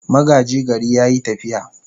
Magaji gari ya yi tafiya.